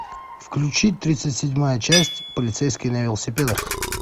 включи тридцать седьмая часть полицейские на велосипедах